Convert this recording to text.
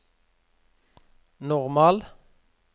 normal